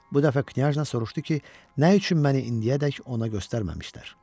Bu dəfə knyajna soruşdu ki, nə üçün məni indiyədək ona göstərməyiblər?